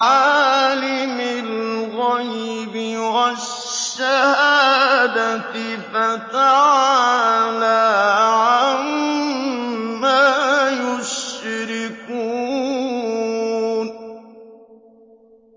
عَالِمِ الْغَيْبِ وَالشَّهَادَةِ فَتَعَالَىٰ عَمَّا يُشْرِكُونَ